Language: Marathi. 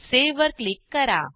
सावे वर क्लिक करा